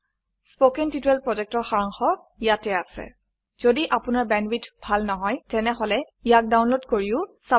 কথন শিক্ষণ প্ৰকল্পৰ সাৰাংশ ইয়াত আছে যদি আপোনাৰ বেণ্ডৱিডথ ভাল নহয় তেনেহলে ইয়াক ডাউনলোড কৰি চাব পাৰে